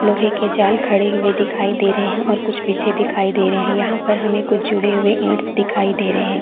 लोहे के जाल खड़े हुए दिखाई दे रहे है और कुछ बिछे देखे दे रहे है यहाँ पर हमें कुछ जुड़े हुए इट्स दिखाई दे रहे है।